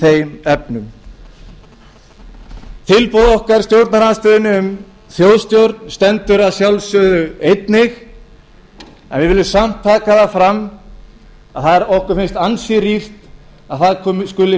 þeim efnum tilboð okkar í stjórnarandstöðunni um þjóðstjórn stendur að sjálfsögðu einnig en við viljum samt taka það fram að okkur finnst ansi rýrt að það skuli